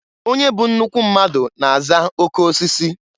Onye bụ nnukwu mmadụ na-aza okeosisi.